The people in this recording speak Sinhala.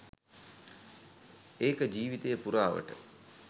ඒක ජීවීතය පුරාවට